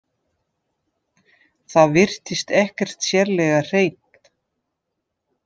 Það virtist ekkert sérlega hreint.